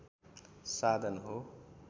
साधन हो